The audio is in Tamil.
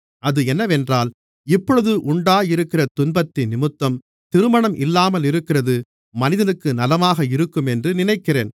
அது என்னவென்றால் இப்பொழுது உண்டாயிருக்கிற துன்பத்தினிமித்தம் திருமணம் இல்லாமலிருக்கிறது மனிதனுக்கு நலமாக இருக்குமென்று நினைக்கிறேன்